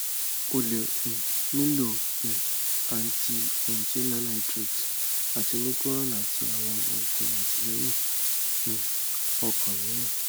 o le um nilo um anti angina nitrates ati nicoran ati awọn oogun atilẹyin um ọkan miiran